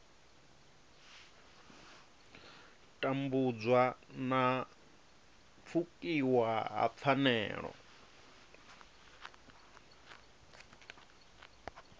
tambudzwa na pfukiwa ha pfanelo